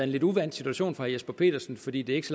lidt uvant situation for herre jesper petersen fordi det ikke